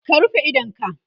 ka rufe idonka!